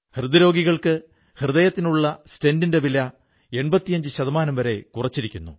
ഹൃദയരോഗികൾക്ക് ഹൃദയത്തിനുള്ള സ്റ്റെന്റിന്റെ വില 85ശതമാനം വരെ കുറച്ചിരിക്കുന്നു